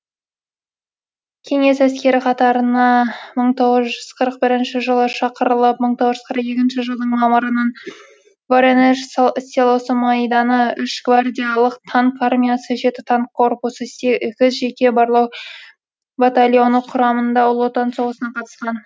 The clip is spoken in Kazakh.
кеңес әскері қатарына мың тоғыз жүз қырық бірінші жылы шақырылып мың тоғыз жүз қырық екінші жылдың мамырынан воронеж селосы майданы үш гвардиялык танк армиясы жеті танк корпусы сегіз жеке барлау батальоны құрамында ұлы отан соғысына қатысқан